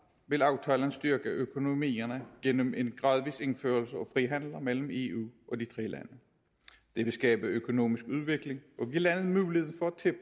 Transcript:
vil aftalen styrke økonomierne gennem en gradvis indførelse af frihandel mellem eu og de tre lande det vil skabe økonomisk udvikling og give landene mulighed for